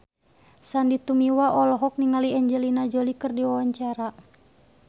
Sandy Tumiwa olohok ningali Angelina Jolie keur diwawancara